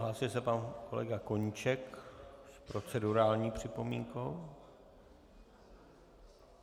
Hlásil se pan kolega Koníček s procedurální připomínkou.